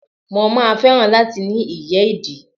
Mo máa fẹ́ràn láti ní ìyẹ́ ìdì.